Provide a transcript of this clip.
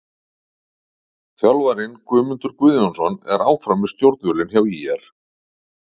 Þjálfarinn: Guðmundur Guðjónsson er áfram við stjórnvölinn hjá ÍR.